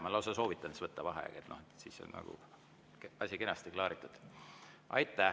Ma lausa soovitan võtta vaheaja, siis on asi nagu kenasti klaaritud.